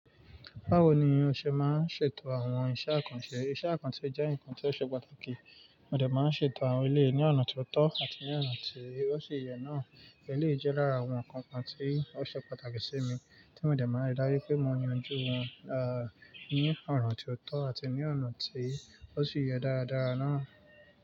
Báwo ni o ṣe máa ń ṣètò àwọn iṣẹ́ àkànṣe? Iṣẹ́ àkànṣe jẹ́ ǹkan tí ó ṣe pàtàkì, mo dẹ̀ máa ń ṣètò àwọn eléyi ní ọ̀nà tió tọ́ àti ní ọ̀nà tí ó ṣì yẹ náà. Eléyìí jẹ́ lára àwọn ǹkan kan tí ó ṣe pàtàkì sí mi, tí mo dẹ̀ máa ń rí dájú pé mo yanju wọ́n, ah, ní ọ̀nà tí ó tọ́ àti ní ọ̀nà tí ó ṣì yẹ dáradára náà.